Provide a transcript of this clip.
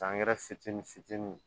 Angɛrɛ fitinin fitinin